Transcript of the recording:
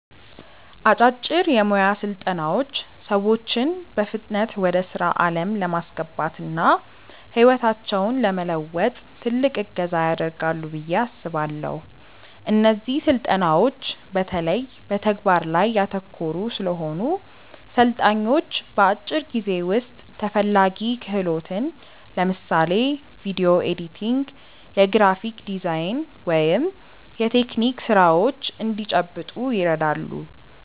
አጫጭር የሞያ ስልጠናዎች ሰዎችን በፍጥነት ወደ ስራ ዓለም ለማስገባትና ህይወታቸውን ለመለወጥ ትልቅ እገዛ ያደርጋሉ ብዬ አስባለው። እነዚህ ስልጠናዎች በተለይ በተግባር ላይ ያተኮሩ ስለሆኑ፣ ሰልጣኞች በአጭር ጊዜ ውስጥ ተፈላጊ ክህሎትን (ለምሳሌ ቪዲዮ ኤዲቲንግ፣ የግራፊክ ዲዛይን ወይም የቴክኒክ ስራዎች) እንዲጨብጡ ይረዳሉ።